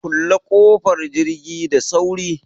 Kulle ƙofar jirgi da sauri!